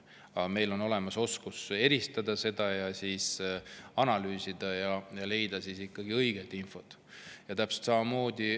Aga meil on olemas oskus seda eristada, analüüsida ja õiget infot leida.